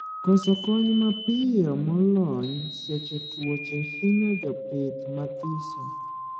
Koso kony mapiyo molony seche tuoche hinyo jopith mathiso